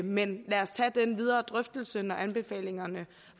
men lad os tage den videre drøftelse når anbefalingerne